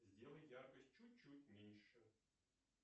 сделай яркость чуть чуть меньше